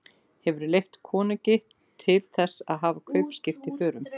Hefurðu leyfi konungs til þess að hafa kaupskip í förum?